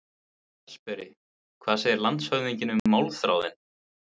VATNSBERI: Hvað segir landshöfðingi um málþráðinn?